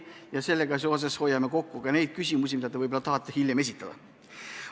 Nii saame ehk ära hoida osa küsimusi, mis teil oli plaanis siin täna esitada.